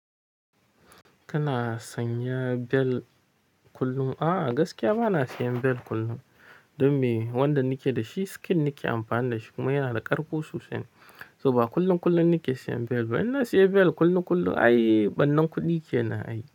Kana sanya bel kullum? Aa gaskiya bana siyan bel kullum, dom me wanda nike da shi skin nike amfani da shi. Kuma yana da ƙarƙo sosai, so ba kullum kullum nike siyan bel ba. In na siya bel kullum kullum, ai bannan kuɗi kenan ai.